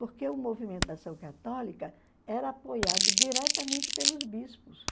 Porque o movimento da ação católica era apoiado diretamente pelos bispos.